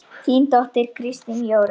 Þín dóttir, Kristín Jórunn.